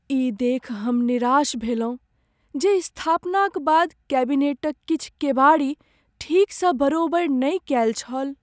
ई देखि हम निराश भेलहुँ जे स्थापनाक बाद कैबिनेटक किछु केबाड़ी ठीकसँ बरोबरि नहि कएल छल।